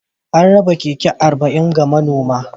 An raba keke arba'in ga manoman